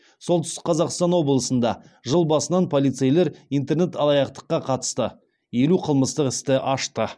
солтүстік қазақстан облысында жыл басынан полицейлер интернет алаяқтыққа қатысты елу қылмыстық істі ашты